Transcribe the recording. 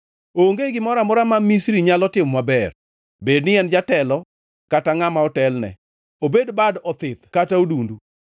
Onge gimoro amora ma Misri nyalo timo maber, bedni en jatelo kata ngʼama otelne, obed bad othith kata odundu.